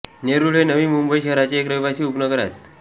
नेरूळ हे नवी मुंबई शहराचे एक रहिवासी उपनगर आहे